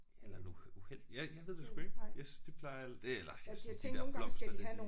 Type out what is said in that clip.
Eller nogle uheld jeg jeg ved det sgu ikke. Jeg det plejer det eller jeg synes de der blomster der de